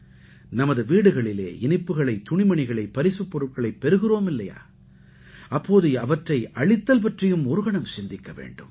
நமது வீடுகளிலே இனிப்புக்களை துணிமணிகளை பரிசுப்பொருட்களைப் பெறுகிறோம் இல்லையா அப்போது அவற்றை அளித்தல் பற்றியும் ஒரு கணம் சிந்திக்க வேண்டும்